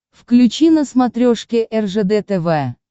включи на смотрешке ржд тв